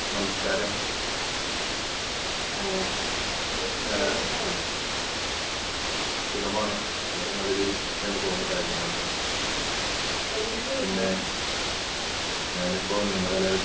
നമസ്ക്കാരം എ എന്തിനാ സുഖം ആണ് വളരെ നല്ല രീതിയിൽ പോകുന്നു കാര്യങ്ങളൊക്കെ. പിന്നെ ഞാനിപ്പോ നിയമ കലാലയത്തിൽ